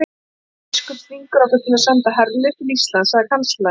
Jón biskup þvingar okkur til að senda herlið til Íslands, sagði kanslarinn.